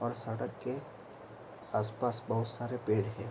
और सड़क के आसपास बहुत सारे पेड़ हैं।